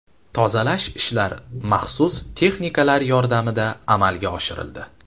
Tozalash ishlari maxsus texnikalar yordamida amalga oshirildi.